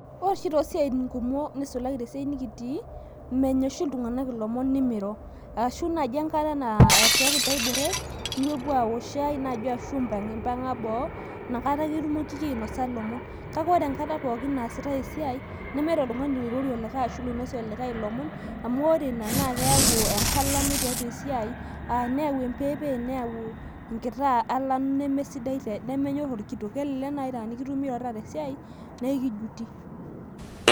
Ore oshii too siatin kumok ashu te siaai nikitii, menya oshi ltunganak lomon nemiro ashu enaaji enkare naishooki ntae bureek nipopo aok ishai naaji ashu amu impang'a boo, inakata ake itumokiki ainosa lomon, kake ore enkata pookin aneasitai esiai nemeeta oltungani oirorie likae ashu loinosie likai lomon amu oreina naa keyau enkalano teatua esiaai neau empepeni neauu inkto alano nemenyorr olkitok, kelelek naa ata inikitumi teatua esiai naa ekijuti.